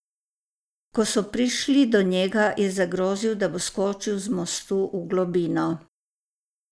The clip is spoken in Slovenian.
Ko so prišli do njega, je zagrozil, da bo skočil z mostu v globino.